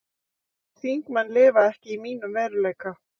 Þingmenn lifa ekki í mínum veruleika